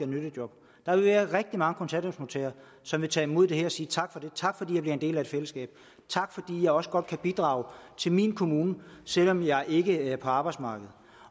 nyttejob der vil være rigtig mange kontanthjælpsmodtagere som vil tage imod det her og sige tak fordi jeg bliver en del af fællesskabet tak fordi jeg også godt kan bidrage til min kommune selv om jeg ikke er på arbejdsmarkedet